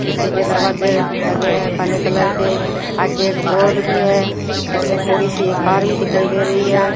शीशे के दरवाजे लगे हुए हैं काले कलर के आगे एक बोर्ड भी है इसमें थोड़ी सी ये कार भी दिखाई दे रही है।